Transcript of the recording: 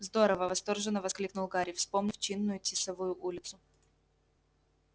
здорово восторженно воскликнул гарри вспомнив чинную тисовую улицу